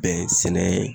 Bɛn sɛnɛ